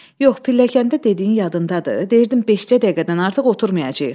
Yox, pilləkəndə dediyin yadındadır, deyirdim beşcə dəqiqədən artıq oturmayacağıq.